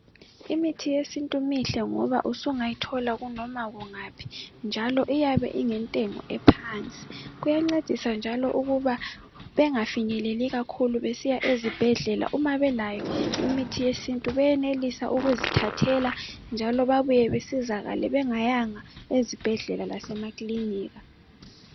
Imithi yesintu mihle ngoba usungayithola noma kungaphi njalo iyabe ingentengo ephansi kuyancedisa njalo ukuba bengafinyeleli kakhulu besiya ezibhedlela uma belayo imithi yesintu benelisa ukuzithathela njalo bebuye besizakale bengayanga ezibhedlela lasemakilinika.